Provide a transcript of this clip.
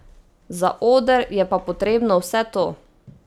Za oder je pa potrebno vse to.